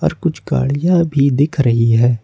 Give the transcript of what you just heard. पर कुछ गाड़ियां भी दिख रही है।